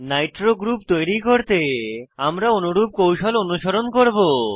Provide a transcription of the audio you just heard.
Nitro group তৈরি করতে আমরা অনুরূপ কৌশল অনুসরণ করব